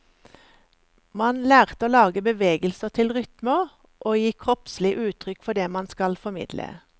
Man lærte å lage bevegelser til rytmer, å gi kroppslig uttrykk for det man skal formidle.